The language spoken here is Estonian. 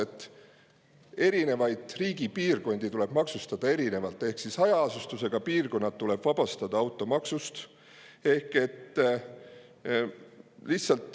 Riigi erinevaid piirkondi tuleb maksustada erinevalt ehk hajaasustusega piirkonnad tuleb automaksust vabastada.